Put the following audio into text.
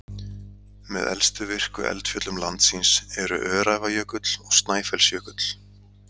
Með elstu virku eldfjöllum landsins eru Öræfajökull og Snæfellsjökull.